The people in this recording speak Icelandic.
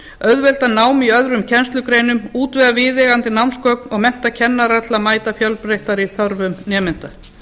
auðvelda nám í öðrum kennslugreinum útvega viðeigandi námsgögn og mennta kennara til að mæta fjölbreyttari þörfum nemenda